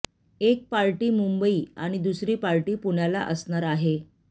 एक पार्टी मुंबई आणि दुसरी पार्टी पुण्याला असणार आहे